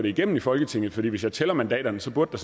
igennem i folketinget for hvis jeg tæller mandaterne så burde